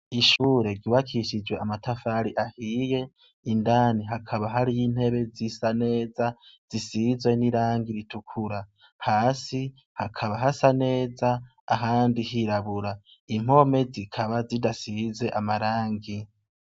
Ishure giwakishijwe amatafari ahiye indani hakaba hariy intebe z'isa neza zisizwe n'irangi ritukura hasi hakaba hasa neza ahandi hirabura impome zikaba zidasize amarangi.